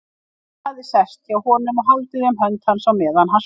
Og hann hafði sest hjá honum og haldið um hönd hans á meðan hann sofnaði.